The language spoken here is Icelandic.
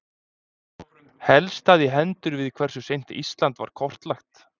Helst það í hendur við hversu seint Ísland var kortlagt.